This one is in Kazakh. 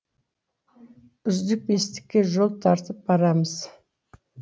үздік бестікке жол тартып барамыз